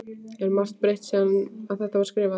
Er margt breytt síðan að þetta var skrifað?